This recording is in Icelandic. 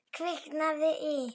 Kviknað í.